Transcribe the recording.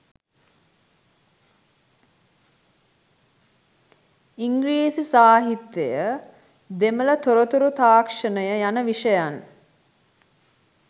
ඉංග්‍රීසි සාහිත්‍යය දෙමළ තොරතුරු තාක්ෂණය යන විෂයන්